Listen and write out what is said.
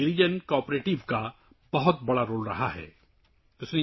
Girijan cooperative نے Araku coffee کو نئی بلندیاں دینے میں بڑا کردار ادا کیا ہے